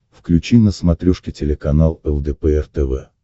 включи на смотрешке телеканал лдпр тв